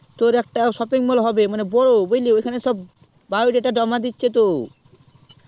তোর একটা shopping mol হবে ওখানে সব bio data জমা দিচ্ছে তো